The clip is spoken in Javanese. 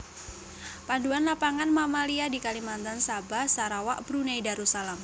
Panduan Lapangan Mamalia di Kalimantan Sabah Sarawak Brunei Darussalam